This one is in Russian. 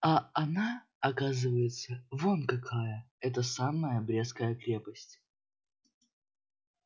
а она оказывается вон какая эта самая брестская крепость